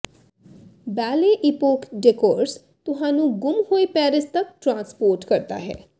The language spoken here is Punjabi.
ਬੈਲੇ ਈਪੋਕ ਡੇਕੋਰਸ ਤੁਹਾਨੂੰ ਗੁੰਮ ਹੋਏ ਪੈਰਿਸ ਤੱਕ ਟਰਾਂਸਪੋਰਟ ਕਰਦਾ ਹੈ